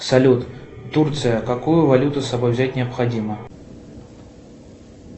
салют турция какую валюту с собой взять необходимо